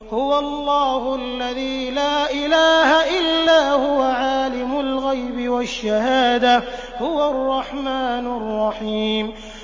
هُوَ اللَّهُ الَّذِي لَا إِلَٰهَ إِلَّا هُوَ ۖ عَالِمُ الْغَيْبِ وَالشَّهَادَةِ ۖ هُوَ الرَّحْمَٰنُ الرَّحِيمُ